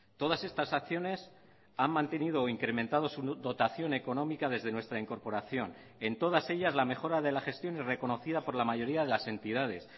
todas estas acciones han mantenido o incrementado su dotación económica desde nuestra incorporación en todas ellas la mejora de la gestión y reconocida por la mayoría de las entidades